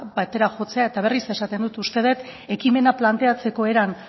batera jotzea eta berriz esaten dut uste dut ekimena planteatzeko eran